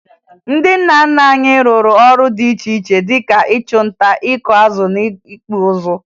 Ndị nna nna anyị rụrụ ọrụ dị iche iche dị ka ịchụ nta, ịkụ azụ na ịkpụ ụzụ